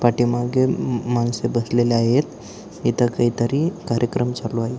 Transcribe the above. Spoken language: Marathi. पाठीमागे माणसे बसलेली आहेत इथे काही तरी कार्यक्रम चालू आहे.